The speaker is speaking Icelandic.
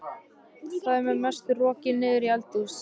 Þar með er hún rokin niður í eldhús.